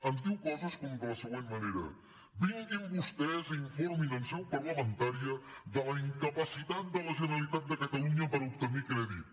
ens diu coses com de la següent manera vinguin vostès i informin en seu parlamentària de la incapacitat de la generalitat de catalunya per obtenir crèdit